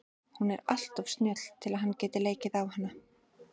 Hún er alltof snjöll til að hann geti leikið á hana.